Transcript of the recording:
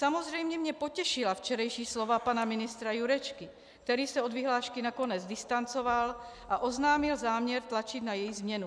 Samozřejmě mě potěšila včerejší slova pana ministra Jurečky, který se od vyhlášky nakonec distancoval a oznámil záměr tlačit na její změnu.